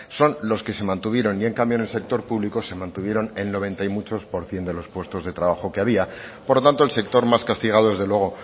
son los que se mantuvieron y en cambio en el sector público se mantuvieron el noventa y muchos por cien de los puestos de trabajo que había por lo tanto el sector más castigado desde luego